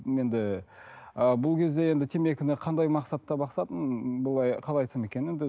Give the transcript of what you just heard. енді ы бұл кезде енді темекіні қандай мақсатта бастадым бұлай қалай айтсам екен енді